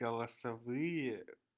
голосовые